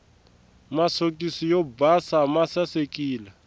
masokisi yo basa masasekile